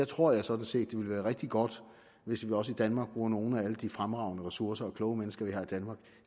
tror jeg sådan set det ville være rigtig godt hvis vi også i danmark bruger nogle af alle de fremragende ressourcer og kloge mennesker vi har i danmark